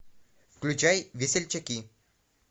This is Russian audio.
включай весельчаки